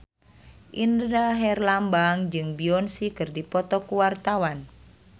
Indra Herlambang jeung Beyonce keur dipoto ku wartawan